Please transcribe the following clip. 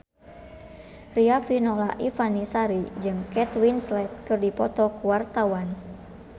Riafinola Ifani Sari jeung Kate Winslet keur dipoto ku wartawan